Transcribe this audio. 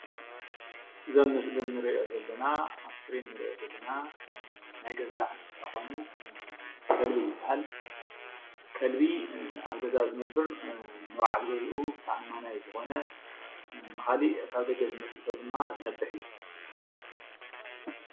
እዚ ኣብ ምስሊ እንሪኦ ዘለና ኣብ ስክሪን እንሪኦ ዘለና ናይ ገዛ እንስሳ ኾይኑ ኸልቢ ይበሃል። ከልቢ ኣብ ገዛ ዝነብር ንበዓል ገዝኡ ተኣማናይ ዞኾነ ንኻሊእ ካብ ደገ ዝመፀ ሰብ ድማ ዝነብሕ እዩ።